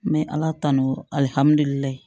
N bɛ ala tanu alihamudulila